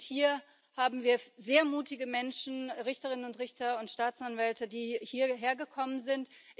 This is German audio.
Und hier haben wir sehr mutige Menschen Richterinnen und Richter und Staatsanwälte die hierhergekommen sind.